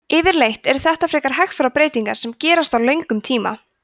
yfirleitt eru þetta frekar hægfara breytingar sem gerast á löngum tíma